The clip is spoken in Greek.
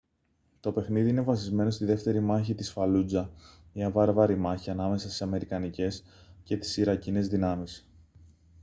το παιχνίδι είναι βασισμένο στη δεύτερη μάχη της φαλούτζα μια βάρβαρη μάχη ανάμεσα στις αμερικανικές και τις ιρακινές δυνάμεις